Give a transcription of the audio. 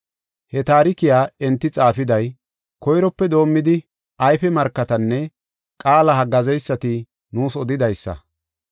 He taarikiya enti xaafiday koyrope doomidi ayfe markatinne qaala haggaazeysati nuus odidaysa.